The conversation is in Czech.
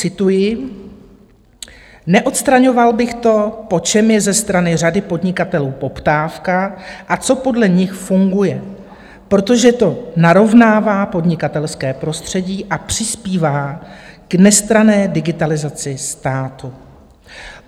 Cituji: Neodstraňoval bych to, po čem je ze strany řady podnikatelů poptávka a co podle nich funguje, protože to narovnává podnikatelské prostředí a přispívá k nestranné digitalizaci státu.